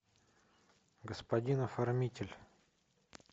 господин оформитель